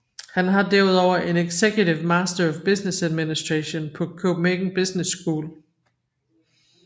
Han har derudover en Executive Master of Business Administration på Copenhagen Business School